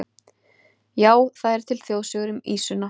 Já, það eru til þjóðsögur um ýsuna.